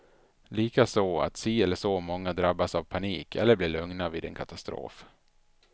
Likaså att si eller så många drabbas av panik, eller blir lugna vid en katastrof.